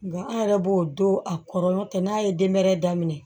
Nga an yɛrɛ b'o don a kɔrɔ n'a ye denmɛrɛni daminɛ